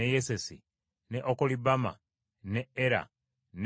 ne Okolibama, ne Era, ne Pinoni,